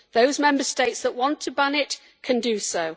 Those Member States that want to ban it can do so.